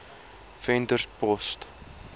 venterspost